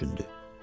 O düşündü.